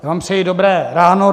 Já vám přeji dobré ráno.